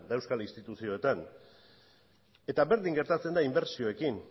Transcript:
eta euskal instituzioetan eta berdin gertatzen da inbertsioekin